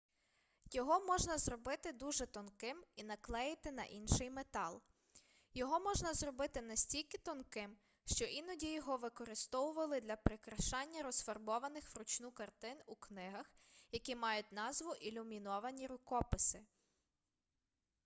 його можна зробити дуже тонким і наклеїти на інший метал його можна зробити настільки тонким що іноді його використовували для прикрашання розфарбованих вручну картин у книгах які мають назву ілюміновані рукописи